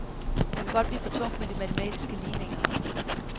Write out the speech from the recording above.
Det kan godt blive for tungt med de matematiske ligninger.